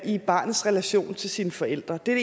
i barnets relation til sine forældre det er